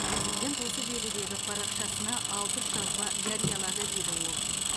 президент осы желідегі парақшасына алпыс жазба жариялады деді ол